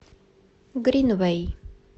гринвэй